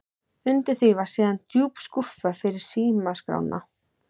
Undir því var síðan djúp skúffa fyrir símaskrána.